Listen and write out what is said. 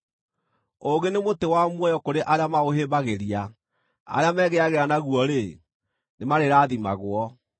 Ũũgĩ nĩ mũtĩ wa muoyo kũrĩ arĩa maũhĩmbagĩria; arĩa megĩagĩra naguo-rĩ, nĩmarĩrathimagwo.